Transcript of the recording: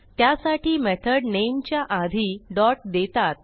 त्यासाठी मेथड नेमच्या आधी डॉट देतात